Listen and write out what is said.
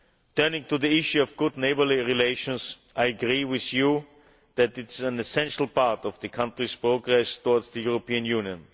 Turning to the issue of good neighbourly relations, I agree with you that it is an essential part of the country's progress towards the European Union.